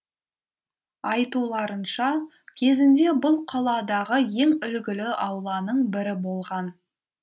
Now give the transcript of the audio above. айтуларынша кезінде бұл қаладағы ең үлгілі ауланың бірі болған